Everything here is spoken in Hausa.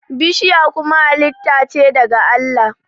bishiya kuma halitta ce daga Allah